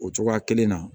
O cogoya kelen na